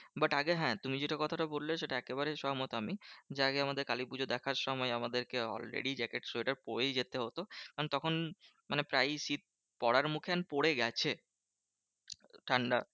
But আগে হ্যাঁ তুমি যেটা কথাটা বললে সেটা একেবারে সহমত আমি। যে আগে আমাদের কালীপুজো দেখার সময় আমাদেরকে already jacket সোয়েটার পরেই যেতে হতো। কারণ তখন মানে প্রায়ই শীত পড়ার মুখে পরে গেছে ঠান্ডা।